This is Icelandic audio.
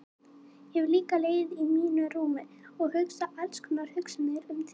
Ég hef líka legið í mínu rúmi og hugsað alls konar hugsanir um þig.